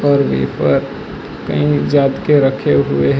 और वेपर कईं जात के रखे हुए हैं।